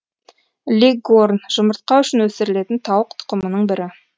леггорн жұмыртқа үшін өсірілетін тауық тұқымының бірі